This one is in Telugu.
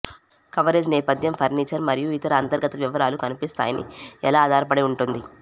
కవరేజ్ నేపథ్యం ఫర్నిచర్ మరియు ఇతర అంతర్గత వివరాలు కనిపిస్తాయని ఎలా ఆధారపడి ఉంటుంది